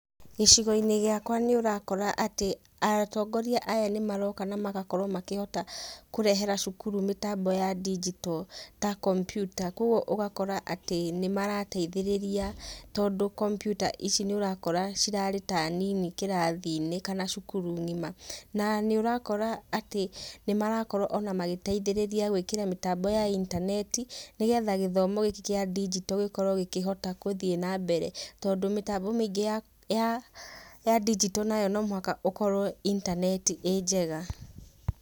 Gĩcigo-inĩ gĩakwa nĩũrakora atĩ atongoria aya nĩmaroka na magakorwo makĩhota kũrehera cukuru mĩtambo ya ndinjito, ta kompiuta kogwo ũgakora atĩ nĩmarateithĩrĩria tondũ kompiuta ici nĩ ũrakora cirarĩ ta nini kĩrathi-inĩ kana cukuru ng'ima. Na nĩ ũrakora atĩ nĩ marakorwo o na magĩteithĩrĩria gwĩkĩra mĩtambo ya intaneti nĩgetha gĩthomo gĩkĩ kĩa ndigito gĩkorwo gĩkĩhota gũthiĩ na mbere tondũ mĩtambo mĩingĩ ya ya ndinjito no mũhaka ũkorwo intaneti ĩ njega.